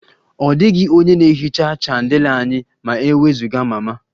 Ọ dịghị onye na-ehicha chandelier anyị ma e wezụga mama